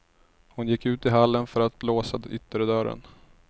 Hon gick ut i hallen för att låsa ytterdörren.